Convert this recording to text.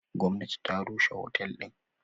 Gwamnati ta rushe otel din.